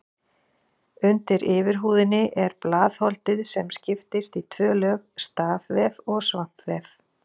Undir yfirhúðinni er blaðholdið sem skiptist í tvö lög, stafvef og svampvef.